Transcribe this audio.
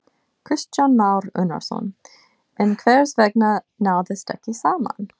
Kristján Már Unnarsson: En hvers vegna náðist ekki saman?